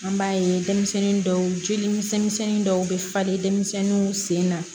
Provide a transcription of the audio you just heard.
An b'a ye denmisɛnnin dɔw joli misɛnnin misɛnnin dɔw bɛ falen denmisɛnninw senna